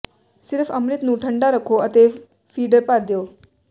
ਸਿਰਫ਼ ਅੰਮ੍ਰਿਤ ਨੂੰ ਠੰਡਾ ਰੱਖੋ ਅਤੇ ਫੀਡਰ ਭਰ ਦਿਓ